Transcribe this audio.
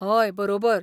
हय, बरोबर.